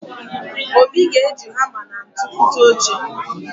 Obi ga-eji hama na ntu kụta oche.